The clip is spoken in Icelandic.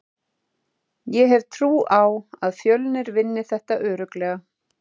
Ég hef trú á að Fjölnir vinni þetta örugglega.